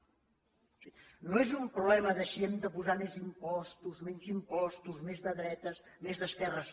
o sigui no és un problema de si hem de posar més impostos menys impostos més de dretes més d’esquerres